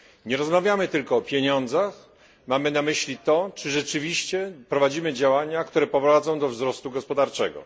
Nie rozmawiamy tylko o pieniądzach, mamy na myśli to, czy rzeczywiście prowadzimy działania, które prowadzą do wzrostu gospodarczego.